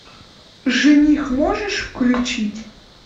жених можешь включить